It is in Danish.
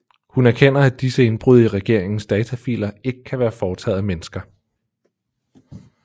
Hun erkender at disse indbrud i regeringens datafiler ikke kan være foretaget af mennesker